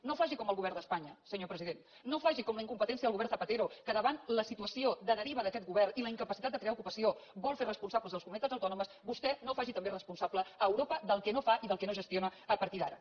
no faci com el govern d’espanya senyor president no faci com la incompetència del govern zapatero que davant la situació de deriva d’aquest govern i la incapacitat de crear ocupació en vol fer responsables les comunitats autònomes vostè no faci també responsable europa del que no fa i del que no gestiona a partir d’ara